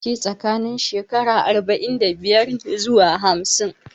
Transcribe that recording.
Yawanci tsakanin shekaru arba'in da biyar ne zuwa hamsin